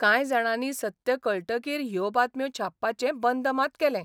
कांय जाणांनी सत्य कळटकीर ह्यो बातम्यो छापपाचें बंद मात केलें.